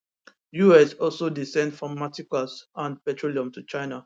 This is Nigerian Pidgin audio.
us also dey send pharmaceuticals and petroleum to china